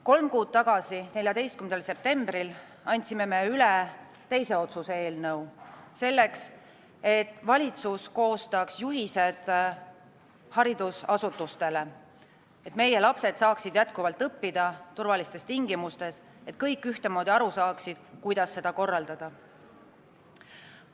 Kolm kuud tagasi, 14. septembril andsime üle teise otsuse eelnõu, selleks et valitsus koostaks juhised haridusasutustele, et meie lapsed saaksid jätkuvalt õppida turvalistes tingimustes ja et kõik ühtemoodi aru saaksid, kuidas seda korraldada.